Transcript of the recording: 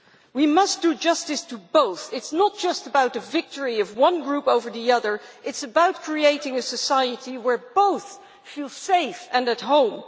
We must do justice to both. It is not just about a victory of one group over the other, it is about creating a society where both feel safe and at home.